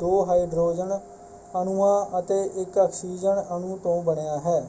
ਦੋ ਹਾਈਡਰੋਜਨ ਅਣੂਆਂ ਅਤੇ ਇਕ ਆਕਸੀਜਨ ਅਣੂ ਤੋਂ ਬਣਿਆ ਹੈ।